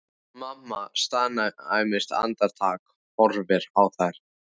Mamma staðnæmist andartak, horfir á þær.